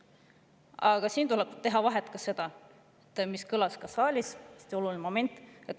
Aga siin tuleb teha vahet ja see on hästi oluline, see kõlas ka saalis.